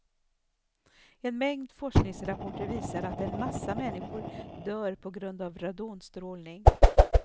En mängd forskningsrapporter visar att en massa människor dör på grund av radonstrålning.